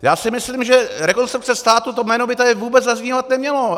Já si myslím, že Rekonstrukce státu, to jméno by tady vůbec zaznívat nemělo!